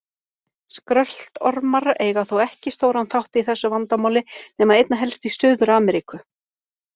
Skröltormar eiga þó ekki stóran þátt í þessu vandamáli nema einna helst í Suður-Ameríku.